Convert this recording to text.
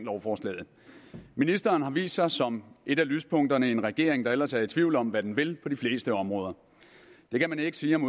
lovforslaget ministeren har vist sig som et af lyspunkterne i en regering der ellers er i tvivl om hvad den vil på de fleste områder det kan man ikke sige om